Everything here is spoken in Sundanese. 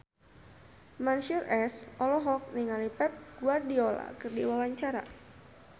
Mansyur S olohok ningali Pep Guardiola keur diwawancara